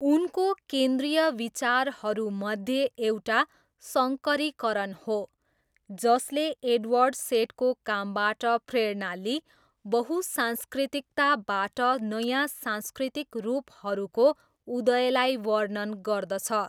उनको केन्द्रीय विचारहरूमध्ये एउटा सङ्करीकरण हो, जसले एडवर्ड सेडको कामबाट प्रेरणा लिई, बहुसांस्कृतिकताबाट नयाँ सांस्कृतिक रूपहरूको उदयलाई वर्णन गर्दछ।